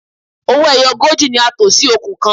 Owó ẹyọ ogójì ni a tò sí okùn kan.